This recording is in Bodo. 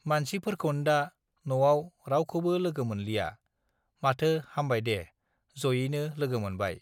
मानसिफोरखौन्दा नआव रावखौबो लोगो मोनलिया माथो हामबाय दे जयैनो लोगो मोनबाय